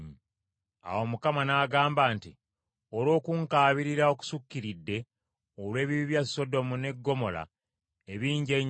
Awo Mukama n’agamba nti, “Olw’okunkaabirira okusukkiridde olw’ebibi bya Sodomu ne Ggomola ebingi ennyo,